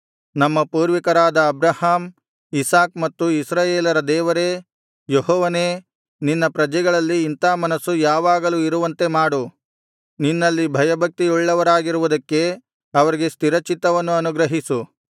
ನಮ್ಮ ಪೂರ್ವಿಕರಾದ Abraham Isaac ಮತ್ತು ಇಸ್ರಾಯೇಲರ ದೇವರೇ ಯೆಹೋವನೇ ನಿನ್ನ ಪ್ರಜೆಗಳಲ್ಲಿ ಇಂಥಾ ಮನಸ್ಸು ಯಾವಾಗಲೂ ಇರುವಂತೆ ಮಾಡು ನಿನ್ನಲ್ಲಿ ಭಯಭಕ್ತಿ ಉಳ್ಳವರಾಗಿರುವುದಕ್ಕೆ ಅವರಿಗೆ ಸ್ಥಿರಚಿತ್ತವನ್ನು ಅನುಗ್ರಹಿಸು